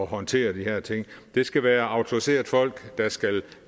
håndtere de her ting det skal være autoriserede folk der skal